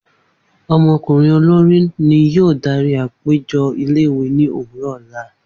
Omo olori ni yoo dari apejọ ile-iwe ni owurọ ọla